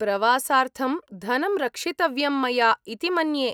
प्रवासार्थं धनं रक्षितव्यं मया इति मन्ये।